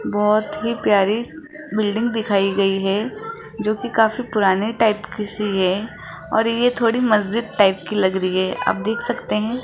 बहोत ही प्यारी बिल्डिंग दिखाई गई है जो की काफी पुराने टाइप की सी है और ये थोड़ी मस्जिद टाइप की लग रही है आप देख सकते हैं--